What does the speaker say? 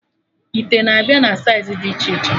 Ite na-abịa na saịz dị iche iche